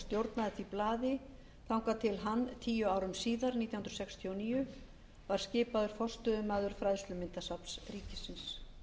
stjórnaði því blaði þangað til hann tíu árum síðar nítján hundruð sextíu og níu var skipaður forstöðumaður fræðslumyndasafns ríkisins